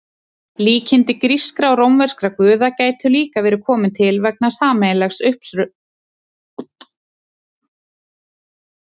Líkindi grískra og rómverskra guða gætu líka verið komin til vegna sameiginlegs uppruna.